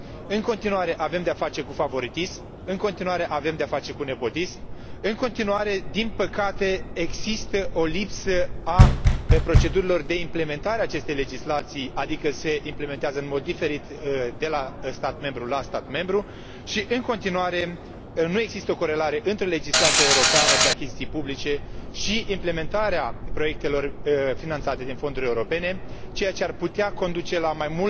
În continuare avem de a face cu favoritism, în continuare avem de a face cu nepotism, în continuare, din păcate, există o lipsă a procedurilor de implementare a acestei legislații, adică se implementează în mod diferit de la stat membru la stat membru și în continuare nu există o corelare între legislația europeană pe achiziții publice și implementarea proiectelor finanțate din fonduri europene, care ar putea conduce la mai